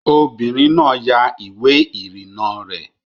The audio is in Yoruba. Obìnrin náà ya ìwé ìrìnnà rẹ̀